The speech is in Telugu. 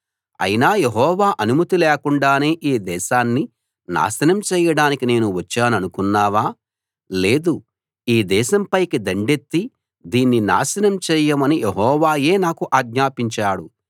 అయినా యెహోవా అనుమతి లేకుండానే ఈ దేశాన్ని నాశనం చేయడానికి నేను వచ్చాననుకున్నావా లేదు ఈ దేశం పైకి దండెత్తి దీన్ని నాశనం చేయమని యెహోవాయే నాకు ఆజ్ఞాపించాడు